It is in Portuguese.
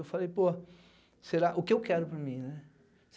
Eu falei, pô, será o que eu quero para mim, né?